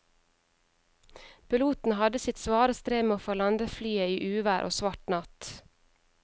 Piloten hadde sitt svare strev med å få landet flyet i uvær og svart natt.